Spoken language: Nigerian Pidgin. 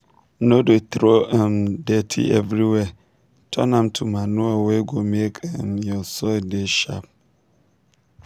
no dey throw um dirty everywhere turn am to manure wey go make um your soil dey sharp.